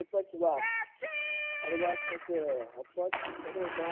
એક જ વાર અહેવાલ